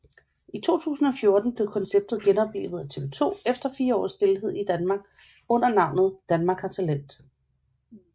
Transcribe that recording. I 2014 blev konceptet genoplivet af TV2 efter fire års stilhed i Danmark under navnet Danmark har talent